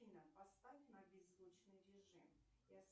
афина поставь на беззвучный режим